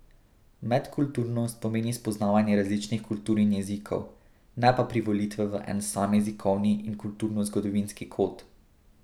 Medkulturnost pomeni spoznavanje različnih kultur in jezikov, ne pa privolitve v en sam jezikovni in kulturnozgodovinski kod.